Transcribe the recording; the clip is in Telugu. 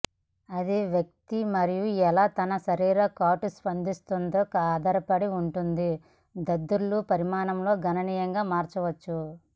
అది వ్యక్తి మరియు ఎలా తన శరీర కాటు స్పందిస్తుంది ఆధారపడి ఉంటుంది దద్దుర్లు పరిమాణం గణనీయంగా మారవచ్చు